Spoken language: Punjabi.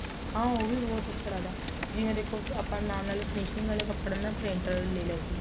ਹਾਂ ਉਹ ਵੀ ਬਹੁਤ ਅੱਛਾ ਲੱਗਦਾ ਜਿਵੇਂ ਦੇਖੋ ਆਪਾਂ ਨਾਲ ਨਾਲ finishing ਵਾਲੇ ਕਪੜੇ ਨਾ printed ਲੈ ਲਿਆ ਕੋਈ